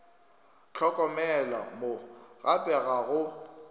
hlokomela mo gape ga go